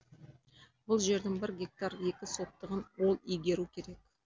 бұл жердің бір гектар екі сотығын ол игеру керек